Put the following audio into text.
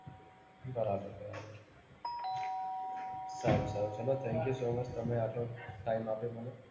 બરાબર બરાબર. સારું સારું ચાલો thank you so much તમે આટલો time આપ્યો મને.